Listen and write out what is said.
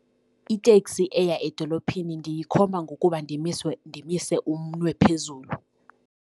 Iteksi eya edolophini ndiyikhomba ngokuba ndimiswe, ndimise umnwe phezulu.